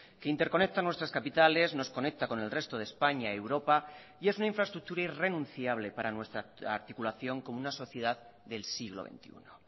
que interconecta nuestras capitales nos conecta con el resto de españa europa y es una infraestructura irrenunciable para nuestra articulación como una sociedad del siglo veintiuno